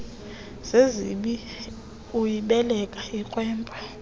zizibi uyibeleka ikrwempa